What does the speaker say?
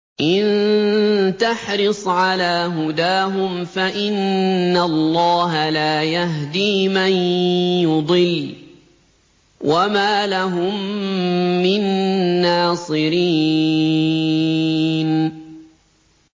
إِن تَحْرِصْ عَلَىٰ هُدَاهُمْ فَإِنَّ اللَّهَ لَا يَهْدِي مَن يُضِلُّ ۖ وَمَا لَهُم مِّن نَّاصِرِينَ